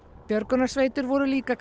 björgunarsveitir voru líka